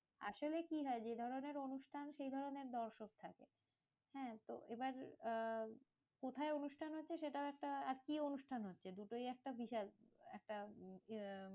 আসলে কি হয়? যে ধরণের অনুষ্ঠান সেই ধরণের দর্শক থাকে। হ্যাঁ তো এবার আহ কোথায় অনুষ্ঠান হচ্ছে? সেটাও একটা, আর কি অনুষ্ঠান? হচ্ছে দুটোই একটা বিশাল একটা